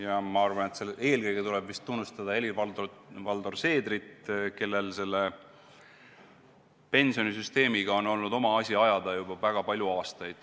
Ja ma arvan, et eelkõige tuleb tunnustada Helir-Valdor Seedrit, kellel selle pensionisüsteemiga on olnud oma asi ajada juba väga palju aastaid.